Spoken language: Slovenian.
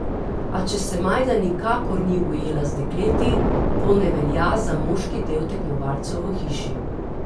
A če se Majda nikakor ni ujela z dekleti, to ne velja za moški del tekmovalcev v hiši.